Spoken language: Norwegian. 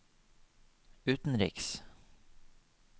utenriks